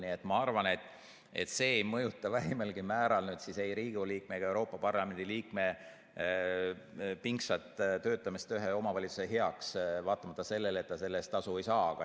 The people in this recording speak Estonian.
Nii et ma arvan, et see ei mõjuta vähimalgi määral ei Riigikogu liikme ega Euroopa Parlamendi liikme pingsat töötamist ühe omavalitsuse heaks, vaatamata sellele, et ta selle eest tasu ei saa.